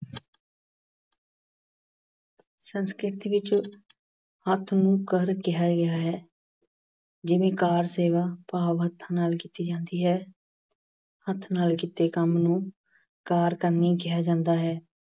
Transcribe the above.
ਸੰਸਕ੍ਰਿਤੀ ਵਿੱਚ ਹੱਥ ਨੂੰ ਕਰ ਕਿਹਾ ਗਿਆ ਹੈ। ਜਿਵੇਂ ਕਾਰ ਸੇਵਾ ਭਾਵ ਹੱਥਾਂ ਨਾਲ ਕੀਤੀ ਜਾਂਦੀ ਹੈ। ਹੱਥ ਨਾਲ ਕੀਤੇ ਜਾਣ ਵਾਲੇ ਕੰਮ ਨੂੰ ਕਾਰ ਕਰਮੀ ਕਿਹਾ ਜਾਂਦਾ ਹੈ।